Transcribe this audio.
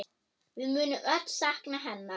Við munum öll sakna hennar.